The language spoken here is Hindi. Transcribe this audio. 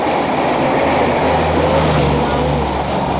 फिर लड़के को खेलाऊँ